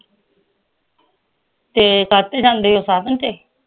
ਤੇ ਕਾਹਦੇ ਤੇ ਜਾਂਦੇ ਓ ਸਾਧਨ ਤੇ